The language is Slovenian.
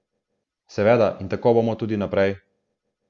Seveda in tako bomo tudi naprej.